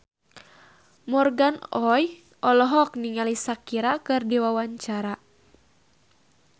Morgan Oey olohok ningali Shakira keur diwawancara